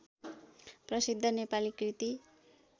प्रसिद्ध नेपाली कृति